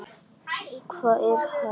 Hvað er hægt að segja.